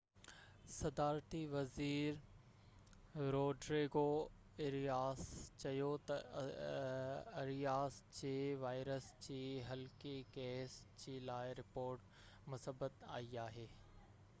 صدارتي وزير Rodrigo Arias چيو ته آرياس جي وائرس جي هلڪي ڪيس جي لاءِ رپورٽ مثبت آئي آهي